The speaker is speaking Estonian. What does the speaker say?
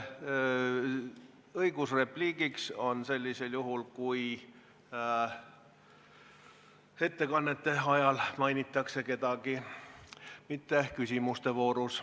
Õigus repliigiks on sellisel juhul, kui kedagi mainitakse ettekannete ajal, mitte küsimuste voorus.